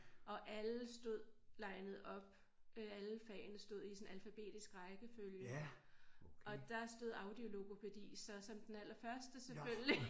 Og alle stod linet op øh alle fagene stod i sådan alfabetisk rækkefølge og der stod audiologopædi som den allerførste selvfølgelig